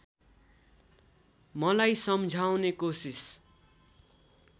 मलाई सम्झाउने कोसिस